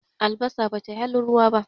albasa ba tai halin ruwa ba